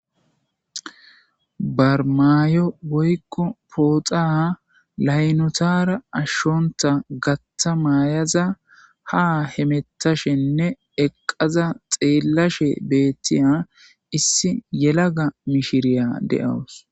Barmayo woykqo pooxa laynotara ashshonta gatta maayaza ha hemettashenne eqqaza xeellashe beettiya issi yelaga mishiriya de'awus.